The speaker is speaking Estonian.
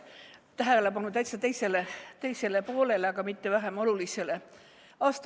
Viin tähelepanu täiesti teisele asjale, aga mitte vähem olulisele.